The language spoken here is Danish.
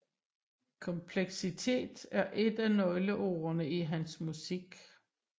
Kompleksitet er et af nøgleordene i hans musik